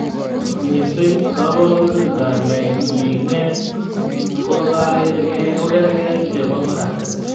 Missing koborunrtab mingeet kokargei ak chebo koratet